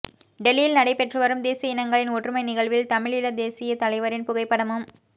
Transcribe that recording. டெல்லியில் நடைபெற்றுவரும் தேசிய இனங்களின் ஒற்றுமை நிகழ்வில் தமிழீழதேசியத் தலைவரின் புகைப்படமும்